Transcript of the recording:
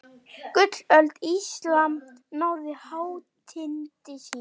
Gullöld Íslam náði hátindi sínum.